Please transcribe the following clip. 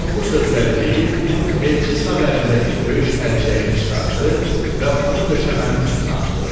Bu sözləri deyib, elçi sağ əlindəki döyüş əlcəyini çıxartdı və onu döşəmənin üstünə atdı.